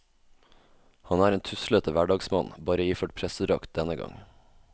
Han er en tuslete hverdagsmann, bare iført prestedrakt denne gang.